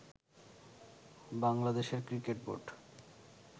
বাংলাদেশের cricket board